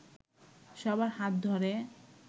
সবার হাত ধরে